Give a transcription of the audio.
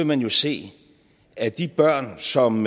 man jo se at de børn som